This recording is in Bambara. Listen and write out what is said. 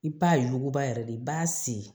I b'a yuguba yɛrɛ de i b'a se